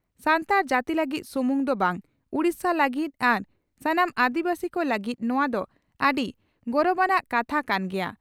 ᱥᱟᱱᱛᱟᱲ ᱡᱟᱹᱛᱤ ᱞᱟᱹᱜᱤᱫ ᱥᱩᱢᱩᱝ ᱫᱚ ᱵᱟᱝ ᱩᱰᱤᱥᱟ ᱞᱟᱹᱜᱤᱫ ᱟᱨ ᱥᱟᱱᱟᱢ ᱟᱹᱫᱤᱵᱟᱹᱥᱤ ᱠᱚ ᱞᱟᱹᱜᱤᱫ ᱱᱚᱣᱟ ᱫᱚ ᱟᱹᱰᱤ ᱜᱚᱨᱵᱟᱱᱟᱜ ᱠᱟᱛᱷᱟ ᱠᱟᱱ ᱜᱮᱭᱟ ᱾